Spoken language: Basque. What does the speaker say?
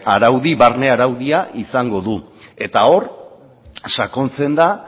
araudia izango du eta hor sakontzen da